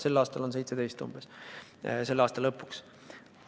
Sel aastal on see umbes 17%, selle aasta lõpus.